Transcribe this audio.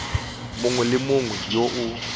mongwe le mongwe yo o